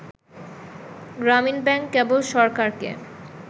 গ্রামীণ ব্যাংক কেবল সরকারকে